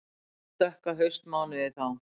Ég man dökka haustmánuði þá.